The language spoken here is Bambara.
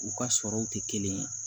U ka sɔrɔw tɛ kelen ye